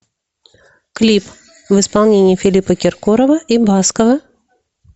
клип в исполнении филиппа киркорова и баскова